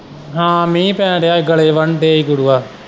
ਹਾਂ ਮੀਂਹ ਪੈਣ ਦਿਆ ਹੀ ਗੜੇ ਵਰਨ ਦੇ ਹੀ ਗੁਰੂਆ।